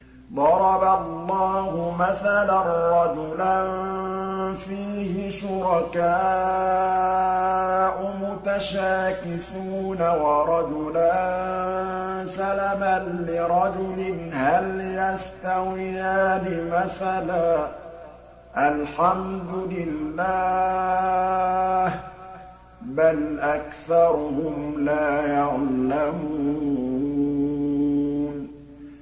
ضَرَبَ اللَّهُ مَثَلًا رَّجُلًا فِيهِ شُرَكَاءُ مُتَشَاكِسُونَ وَرَجُلًا سَلَمًا لِّرَجُلٍ هَلْ يَسْتَوِيَانِ مَثَلًا ۚ الْحَمْدُ لِلَّهِ ۚ بَلْ أَكْثَرُهُمْ لَا يَعْلَمُونَ